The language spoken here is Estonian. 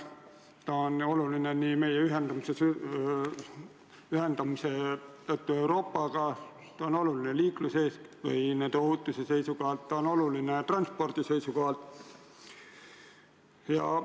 Ta on oluline meie ühendamise tõttu Euroopaga, ta on oluline liikluses, sh ohutuse seisukohalt, ta on oluline transpordi seisukohalt.